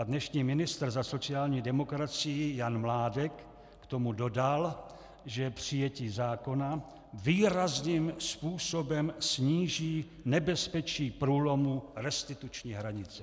A dnešní ministr za sociální demokracii Jan Mládek k tomu dodal, že přijetí zákona výrazným způsobem sníží nebezpečí průlomu restituční hranice.